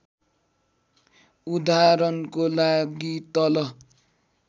उदाहरणको लागि तल